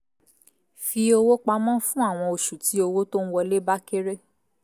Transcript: fi owó pamọ́ fún àwọn oṣù tí owó tó ń wọlé bá kéré